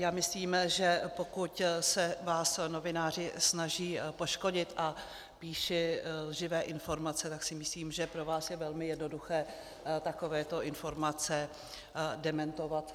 Já myslím, že pokud se vás novináři snaží poškodit a píší lživé informace, tak si myslím, že pro vás je velmi jednoduché takovéto informace dementovat.